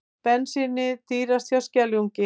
Bensínið dýrast hjá Skeljungi